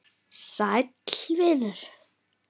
Sæll vinur